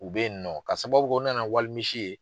U bɛ yennɔ k'a sababu kɛ u nana walimisi ye.